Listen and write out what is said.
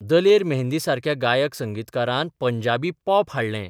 दलेर मेहंदीसारक्या गायक संगीतकारान पंजाबी पॉप हाडलें.